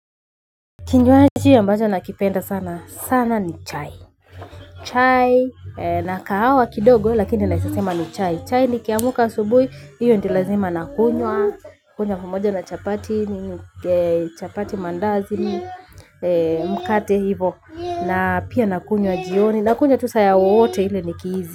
Kinywaji ambacho nakipenda sana, sana ni chai. Chai, na kahawa kidogo lakini naeza sema ni chai, chai ni kiamka subui, hiyo nilazima nakunywa. Kunywa pamoja na chapati, chapati maandazi, mkate hivo. Na pia nakunywa jioni, nakunywa tu saa wowote ile nikihisi.